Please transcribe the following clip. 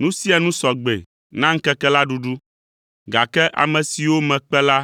‘Nu sia nu sɔ gbe na ŋkeke la ɖuɖu, gake ame siwo mekpe la